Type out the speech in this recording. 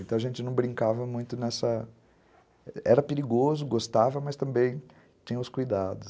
Então, a gente não brincava muito nessa... Era perigoso, gostava, mas também tinha os cuidados.